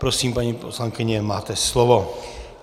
Prosím, paní poslankyně, máte slovo.